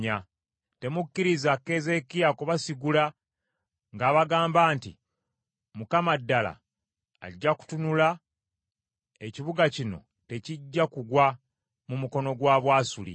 Temukkiriza Keezeekiya kubasigula ng’abagamba nti, ‘ Mukama ddala ajja kutununula, ekibuga kino tekijja kugwa mu mukono gwa Bwasuli.’